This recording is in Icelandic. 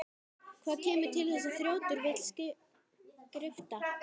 Hvað kemur til að þessi þrjótur vill skrifta?